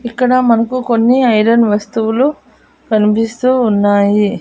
ఇక్కడ మనకు కొన్ని ఐరన్ వస్తువులు కనిపిస్తూ ఉన్నాయి.